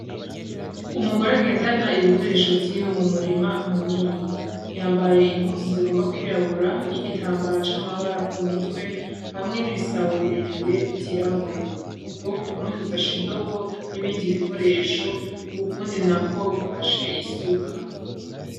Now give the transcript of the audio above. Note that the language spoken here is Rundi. Umugore agendana ibikoresho vyiwe m'umurima munini ,yambaye impuzu zigomba kwirabura n'igitambara c'amabara kumutwe hamwe n'ibisabo birebire vy'irabura ukuboko kumwe gufashe indobo n'ibindi bikoresho ukundi nako gufashe isuka.